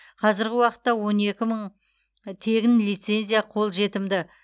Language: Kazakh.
қазіргі уақытта он екі мың тегін лицензия қолжетімді